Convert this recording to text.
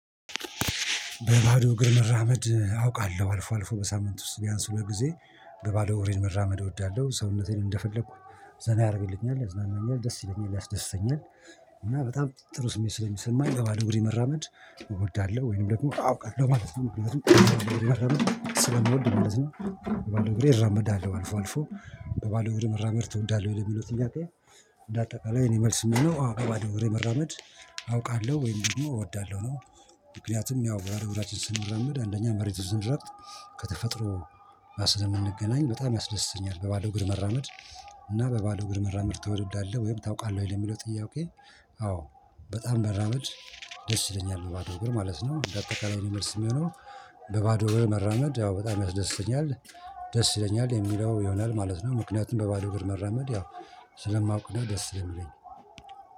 በባዶ እግር መራመድ አውቃለሁ አልፎ አልፎ በሳምንት ውስጥ ቢያንስ ሁለት ጊዜ በባዶ እግሬ መራመድ እወዳለሁ ሰውነቴን እንደፈለኩ ዘና ያረግልኛል ያዝናናኛል ደስ ይለኛል ያስደስተኛል። እና በጣም ጥሩ ስሜት ስለሚሰማኝ የባዶ እግሬ መራመድ እወዳለሁ ወይንም ደግሞ አውቃለሁ ማለት ነው። ምክንያቱም የባዶ እግሬ መራመድ ስለመወድ ማለት ነው። በባዶ እግሬ እራመዳለሁ አልፎ አልፎ። በባዶ እግርህ መራመድ ትወዳለህ ወይ ለሚለው ጥያቄ? እንደ አጠቃላይ እኔ መልስ የምለው አው በባዶ እግሬ መራመድ አውቃለሁ ወይም ደግሞ እወዳለሁ ነው። ምክንያቱም ያው ባዶ እግራችን ስንራመድ አንደኛ መሬቱን ስንረግጥ ከተፈጥሮ ስለምንገናኝ በጣም ያስደስተኛል። በባዶ እግር መራመድ። እና በባዶ እግር መራመድ ትወዳለህ ወይም ታውቃለህ ወይ ለሚለው ጥያቄ? አዎ። በጣም መራመድ ደስ ይለኛል በባዶ እግር ማለት ነው እንደ አጠቃላይ መልስ የሚሆነው። በባዶ እግር መራመድ ያው በጣም ያስደስተኛል። ደስ ይለኛል የሚለው ይሆናል ማለት ነው። ምክንያቱም በባዶ እግር መራመድ ያው ስለማውቅ ነው ደስ ነው የሚለኝ